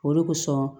Olu kosɔn